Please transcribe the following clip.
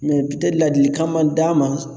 Mɛ ladilikan ma d'a ma.